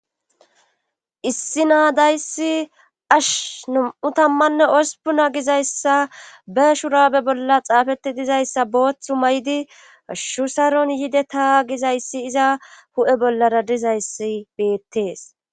Issi naadayssi ash num7u tammanne osupuna gizayssa be shurabe bolla xaafeti dizayssa booththu may7di shusaron yide ta gizayssi iza hu7e bollara dizayssi beettees